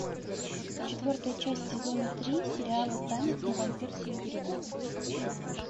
четвертая часть сезона три сериала танец на вампирском берегу